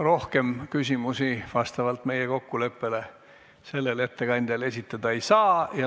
Rohkem küsimusi vastavalt meie kokkuleppele sellele ettekandjale esitada ei saa.